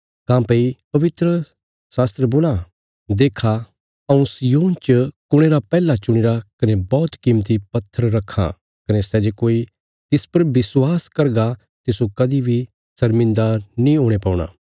काँह्भई पवित्रशास्त्रा बोलां देक्खा हऊँ सिय्योन च कुणे रा पैहला चुणीरा कने बौहत कीमती पत्थर रक्खां कने सै जे कोई तिस पर विश्वास करगा तिस्सो कदीं बी शर्मिन्दा नीं हुणे पौणा